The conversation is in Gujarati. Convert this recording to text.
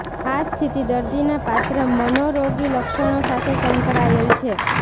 આ સ્થિતિ દર્દીના પાત્ર મનોરોગી લક્ષણો સાથે સંકળાયેલ છે